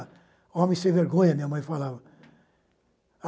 Homem sem vergonha, minha mãe falava.